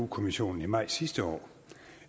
kommissionen i maj sidste år